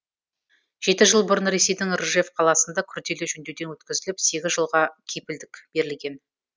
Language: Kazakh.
жеті жыл бұрын ресейдің ржев қаласында күрделі жөндеуден өткізіліп сегіз жылға кепілдік берілген